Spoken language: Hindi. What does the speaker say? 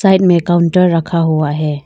साइड में काउंटर रखा हुआ है।